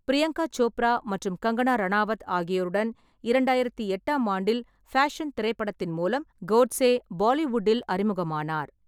பிரியங்கா சோப்ரா மற்றும் கங்கனா ரனாவத் ஆகியோருடன் இரண்டாயிரத்தி எட்டாம் ஆண்டில் ஃபேஷன் திரைப்படத்தின் மூலம் கோட்சே பாலிவுட்டில் அறிமுகமானார்.